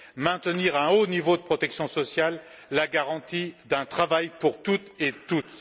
maintenir un haut niveau de protection sociale, la garantie d'un travail pour toutes et tous.